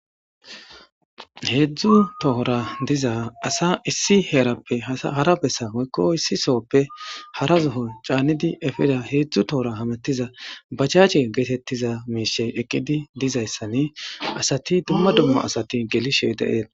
Heedzdzu tohora diza asa issi heerappe hara bessa moykko issi sooppe hara zohon caannidi efida heedzdzu tohora hamettiza bachache geetettiza miishey eqqidi dizayssani asati dumma dummo asati gelishe deeet